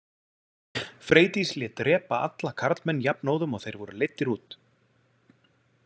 Freydís lét drepa alla karlmenn jafnóðum og þeir voru leiddir út.